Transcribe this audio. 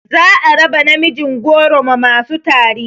Za a raba namijin goro ma masu tari